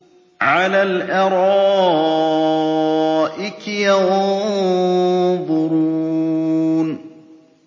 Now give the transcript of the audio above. عَلَى الْأَرَائِكِ يَنظُرُونَ